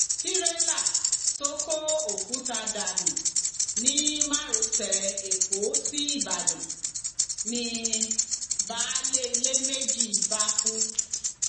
tírélà tó kó òkúta dànù ni márosẹ ẹkọ síbàdàn ni baálé ilé méjì bá kú